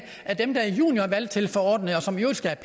at dem der er juniorvalgtilforordnede og som i øvrigt skal